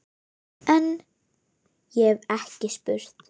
En- ég hef ekki spurt.